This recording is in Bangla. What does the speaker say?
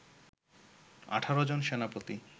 ১৮ জন সেনাপতি